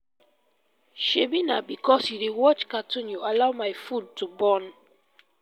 shebi na because you dey watch cartoon you allow my food to burn